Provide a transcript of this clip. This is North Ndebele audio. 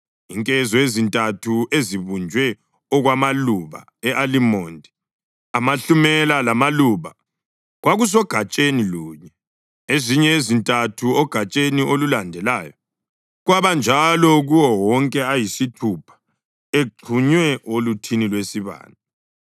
Inkezo ezintathu ezibunjwe okwamaluba e-alimondi, amahlumela lamaluba kwakusogatsheni lunye, ezinye ezintathu ogatsheni olulandelayo, kwabanjalo kuwo wonke ayisithupha exhunywe oluthini lwesibane.